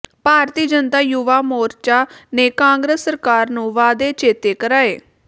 ਭਾਰਤੀ ਜਨਤਾ ਯੁਵਾ ਮੋਰਚਾ ਨੇ ਕਾਂਗਰਸ ਸਰਕਾਰ ਨੂੰ ਵਾਅਦੇ ਚੇਤੇ ਕਰਾਏ